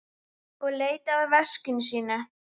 Og leitaði að veski sínu.